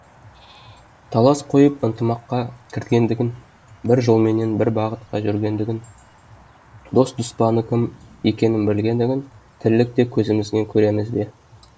талас қойып ынтымаққа кіргендігін бір жолменен бір бағытқа жүргендігін дос дұспаны кім екенін білгендігін тірілікте көзімізбен көреміз бе